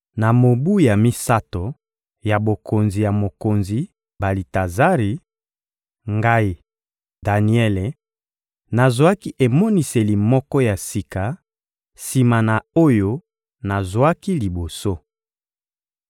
Na mobu ya misato ya bokonzi ya mokonzi Balitazari, ngai, Daniele, nazwaki emoniseli moko ya sika, sima na oyo nazwaki liboso.